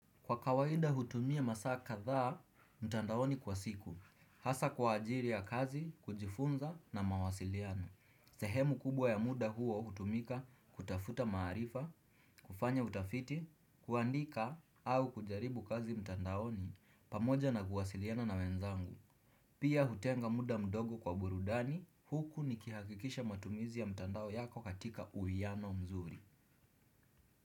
Kwa kawaida hutumia masaa kadhaa mtandaoni kwa siku, hasa kwa ajili ya kazi, kujifunza na mawasiliano. Sehemu kubwa ya muda huo hutumika kutafuta maarifa, kufanya utafiti, kuandika au kujaribu kazi mtandaoni pamoja na kuwasiliana na wenzangu. Pia hutenga muda mdogo kwa burudani huku nikihakikisha matumizi ya mtandao yako katika uwiyano mzuri.